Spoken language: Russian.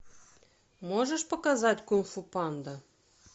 можешь показать кунг фу панда